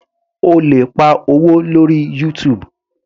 O lè pa owó lórí YouTube.